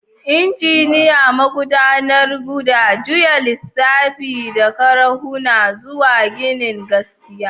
Injiniya, magudanar gada, juya lisafi da karahuna zuwa ginin gaskiya.